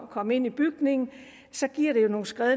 komme ind i bygningen så giver det jo nogle skred